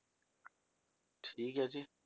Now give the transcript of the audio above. ਠੀਕ ਹੈ ਜੀ